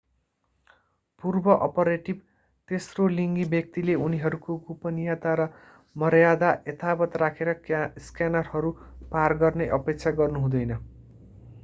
पूर्व-अपरेटिभ तेस्रोलिङ्गी व्यक्तिले उनीहरूको गोपनीयता र मर्यादा यथावत राखेर स्क्यानरहरू पार गर्ने अपेक्षा गर्नु हुँदैन